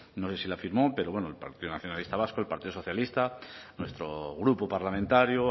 no sé si la firmó pero bueno el partido nacionalista vasco el partido socialista nuestro grupo parlamentario